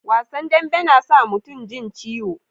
Wasan dambe na sa mutum jin ciwo